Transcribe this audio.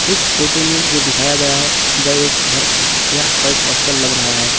इस फोटो में जो दिखाया गया है वह एक घर या वह एक हॉस्टल लग रहा है।